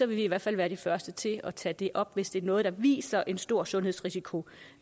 vi i hvert fald være de første til at tage det op hvis det er noget der viser en stor sundhedsrisiko